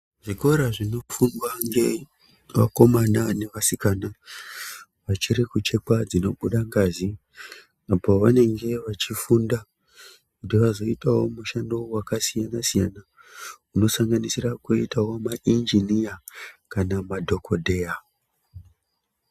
Zvikora zvinofundwa ngevakomana nevasikana vachiri kuchekwa dzinobuda ngazi, apo vanenge vachifunda kuti vazoitawo mushando wakasiyana-siyana unosanganisira kuitawo mainjiniya kana madhokodheya.